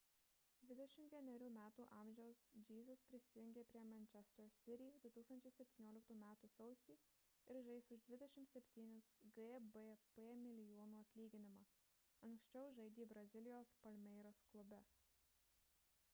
21 metų amžiaus jesus prisijungė prie manchester city 2017 m sausį ir žais už 27 gbp milijonų atlyginimą anksčiau žaidė brazilijos palmeiras klube